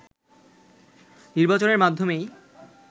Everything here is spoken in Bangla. নির্বাচনের মাধ্যমেই